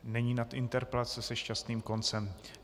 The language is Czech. Není nad interpelace se šťastným koncem.